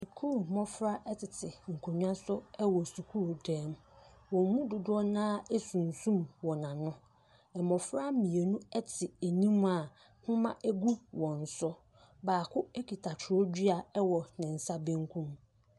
Sukuu mmofra ɛtete nkonwa so ɛwɔ sukuu dan mu. Wɔn mo dodoɔ naa esumsum wɔn ano. Mmofra mmienu ɛte anim a nhoma egu wɔn so. Baako ekita kyerɛwdua ɛwɔ ne nsa benkum.